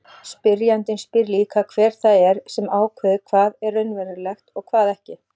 Spyrjandinn spyr líka hver það er sem ákveður hvað er raunverulegt og hvað ekki.